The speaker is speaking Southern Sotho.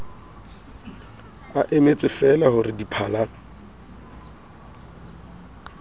a emetsefeela ho re diphala